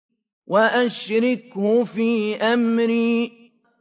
وَأَشْرِكْهُ فِي أَمْرِي